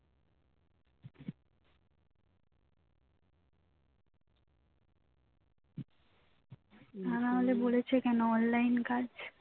তা না হলে বলেছে কেন online কাজ